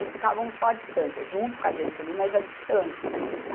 Eles ficavam só à distância, junto com a gente ali, mas à distância.